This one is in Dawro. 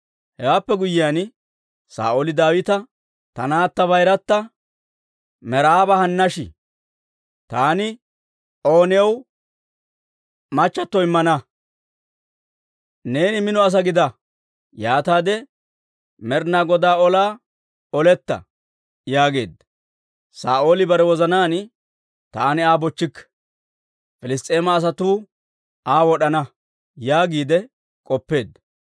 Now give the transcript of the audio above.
Hewaappe guyyiyaan, Saa'ooli Daawita, «Ta naatta bayirata Meraaba hannash; taani O new mache ootsaade immana; neeni mino asaa gida; yaataade Med'inaa Godaa olaa oletta» yaageedda. Saa'ooli bare wozanaan, «Taani Aa bochchikke; Piliss's'eema asatuu Aa wod'ana» yaagiide k'oppeedda.